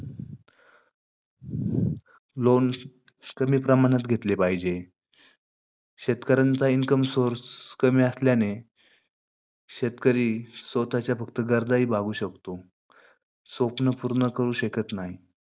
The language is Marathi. Loans कमी प्रमाणात घेतले पाहीजे. शेतकऱ्यांचा income source कमी असल्याने शेतकरी स्वतःच्या गरजा हि भागू शकतो, स्वप्न पूर्ण करू शकत नाही.